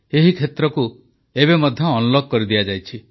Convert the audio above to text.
ଏହି କ୍ଷେତ୍ରକୁ ମଧ୍ୟ ଏବେ ଅନଲକ କରିଦିଆଯାଇଛି